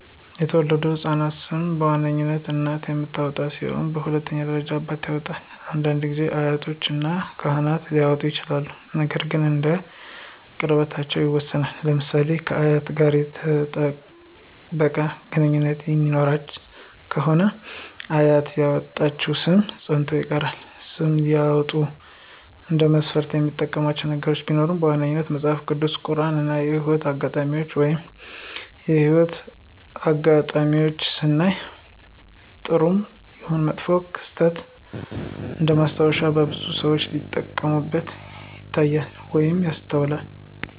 የተወለዱ ህፃናቶችን ሰም በዋናነት እናት የምታወጣ ሲሆን በሁለተኛ ደረጃ አባት ያወጣል፤ አንዳንድ ጊዜ አያቶች እና ካህኖች ሊያወጡ ይችላሉ ነገር ግን እንደ ቅርርብነታቸው ይወሰናል። ለምሳሌ ከአያት ጋር የጠበቀ ግንኙነት የሚኖራት ከሆነ አያት ያወጣችው ሰም ፀንቶ ይቀራል። ስም ሲያወጡ እንደ መስፈርት የሚያዩት ነገር ቢኖር በዋነኛነት መጸሐፍ ቅዱስ፣ ቁራን እና የህይወት አጋጣሜን ነው። የህይወት አጋጣሜን ስናይ ጥሩም ይሁን መጥፎ ክስተት እንደማስታወሻነት በብዛት ሰዎች ሲጠቀሙበት ይታያሉ ወይም ይስተዋላሉ።